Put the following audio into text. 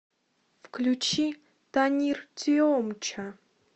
включи танир тиомча